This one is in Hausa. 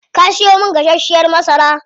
Kaa siyo min gasashiyar masara?